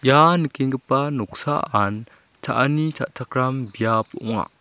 ah nikenggipa noksaan cha·ani cha·chakram biap ong·a.